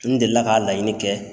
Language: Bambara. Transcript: N delila ka laɲini kɛ.